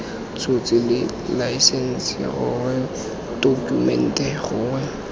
tshotse laesense gongwe tokumente gongwe